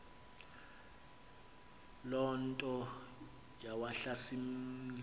loo nto yawahlasimlisa